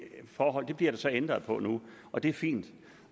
forhold bliver der så ændret på nu og det er fint